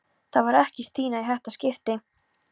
Það var ekki Stína í þetta skipti.